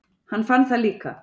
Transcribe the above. Hann fann það líka.